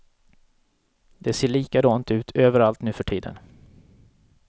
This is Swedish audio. Det ser likadant ut överallt nu för tiden.